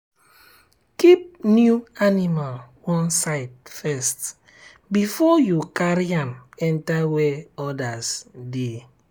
keep new animal one side first before you carry am enter where others dey.